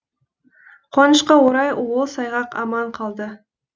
қуанышқа орай ол сайғақ аман қалды